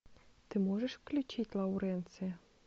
ты можешь включить лауренция